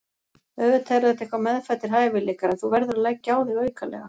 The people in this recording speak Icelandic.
Auðvitað eru þetta eitthvað meðfæddir hæfileikar en þú verður að leggja á þig aukalega.